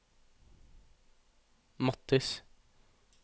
Mathis